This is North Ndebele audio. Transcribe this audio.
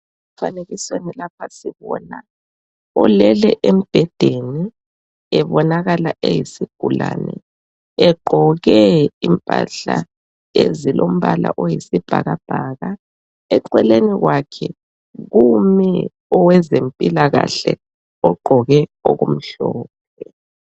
Emfanekisweni lapha sibona olele embhedeni ebonakala eyisigulane egqoke impahla ezilombala oyisibhakabhaka eceleni kwakhe kumi owezempilakahle ogqoke okumhlophe.